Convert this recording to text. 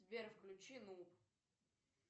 сбер включи нуб